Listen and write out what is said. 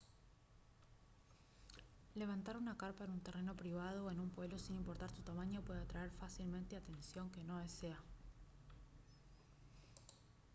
levantar una carpa en un terreno privado o en un pueblo sin importar su tamaño puede atraer fácilmente atención que no desea